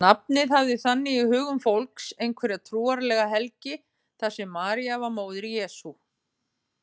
Nafnið hafði þannig í hugum fólks einhverja trúarlega helgi þar sem María var móðir Jesú.